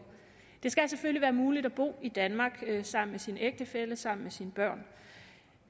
det skal selvfølgelig være muligt at bo i danmark sammen med sin ægtefælle sammen med sine børn